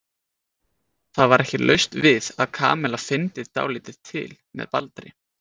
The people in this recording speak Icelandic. Það var ekki laust við að Kamilla fyndi dálítið til með Baldri.